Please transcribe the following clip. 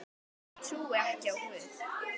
Ég trúi ekki á Guð.